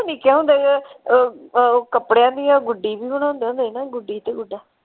ਨਿੱਕਿਆਂ ਹੁੰਦਿਆਂ ਅਹ ਉਹ ਕਪੜਿਆਂ ਦੀਆਂ ਗੁੱਡੀ ਬਣਾਉਦੇ ਹੁੰਦੇ ਸੀ ਨਾ ਗੁੱਡੀ ਤੇ ਗੁੱਡਾ।